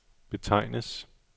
betegnes